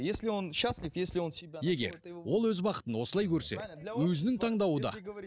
если он счастлив егер ол өз бақытын осылай көрсе өзінің таңдауы да